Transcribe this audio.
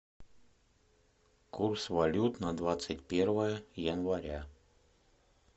курс валют на двадцать первое января